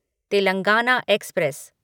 Telangana express